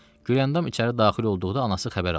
Güləndam içəri daxil olduqda anası xəbər aldı.